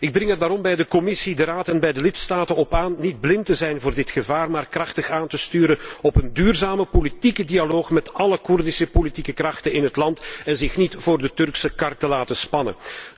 Ik dring er daarom bij de Commissie, de Raad en de lidstaten op aan niet blind te zijn voor dit gevaar, maar krachtig aan te sturen op een duurzame politieke dialoog met alle Koerdische politieke krachten in het land en zich niet voor de Turkse kar te laten spannen.